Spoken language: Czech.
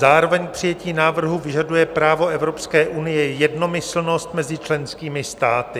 Zároveň k přijetí návrhu vyžaduje právo EU jednomyslnost mezi členskými státy.